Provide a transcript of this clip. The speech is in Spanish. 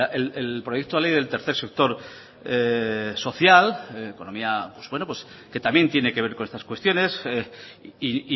el proyecto de ley del tercer sector social economía pues bueno que también tiene que ver con estas cuestiones y